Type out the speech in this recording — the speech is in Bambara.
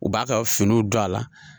U b'a ka finiw don a la.